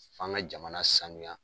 F'an ka jamana sanuya.